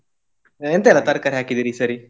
ಎಂತ ಎಲ್ಲ ತರ್ಕಾರಿ ಹಾಕಿದೀರಿ ಈ ಸರಿ?